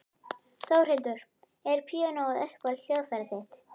Þórhildur: Er píanóið uppáhalds hljóðfærið þitt?